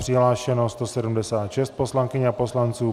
Přihlášeno 176 poslankyň a poslanců.